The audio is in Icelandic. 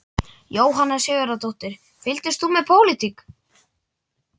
Jóhanna Sigurðardóttir: Fylgist þú með pólitík?